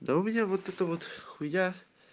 да у меня вот это вот хуя